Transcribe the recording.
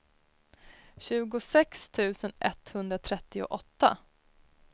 tjugosex tusen etthundratrettioåtta